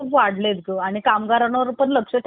खूप वाढलेत ग, आणि कामगारांवर वेगैरे पण खूप लक्ष